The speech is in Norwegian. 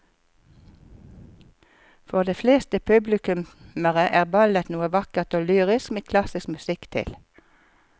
For de fleste publikummere er ballett noe vakkert og lyrisk med klassisk musikk til.